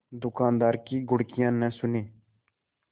दुकानदार की घुड़कियाँ न सुने